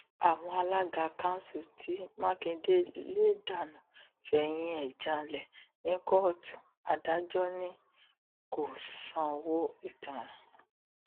àwọn alága kanṣu tí mákindé lè dánú fẹyìn ẹ janlẹ ní kóòtù adájọ ni kò sanwó ìtanràn